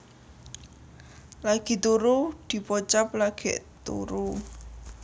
Lagi turu dipocap lagèk turu